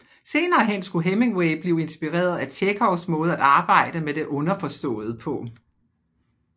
Senere hen skulle Hemingway blive inspireret af Tjekhovs måde at arbejde med det underforståede på